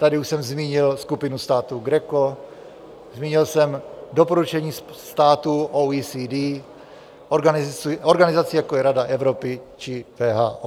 Tady už jsem zmínil skupinu států GRECO, zmínil jsem doporučení států OECD, organizací, jako je Rada Evropy či WHO.